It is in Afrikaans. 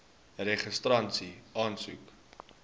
registrasieaansoek